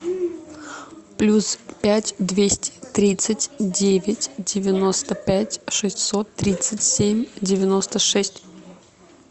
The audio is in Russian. плюс пять двести тридцать девять девяносто пять шестьсот тридцать семь девяносто шесть